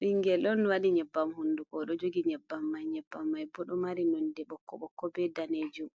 Bingel don wadi nyebbam hunduko odo jogi nyebbam mai, nyebbam mai bo do mari nonde bokko bokko be danejum